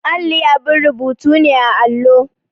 Alli abin rubutu ne a allo.